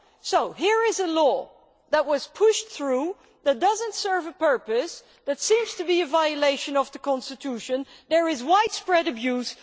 So here is a law that was pushed through, that does not serve a purpose, that seems to be a violation of the constitution and of which there is widespread abuse.